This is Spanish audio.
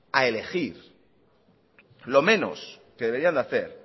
a elegir lo menos que deberían hacer